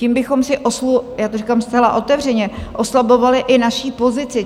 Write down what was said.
Tím bychom si, já to říkám zcela otevřeně, oslabovali i naši pozici.